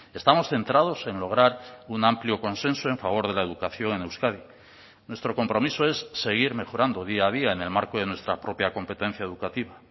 estamos centrados en lograr un amplio consenso en favor de la educación en euskadi nuestro compromiso es seguir mejorando día a día en el marco de nuestra propia competencia educativa